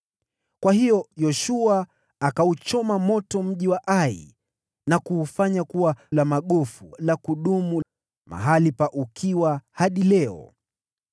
Kwa hiyo Yoshua akauchoma moto mji wa Ai na kuufanya kuwa lundo la magofu la kudumu, mahali pa ukiwa hadi leo.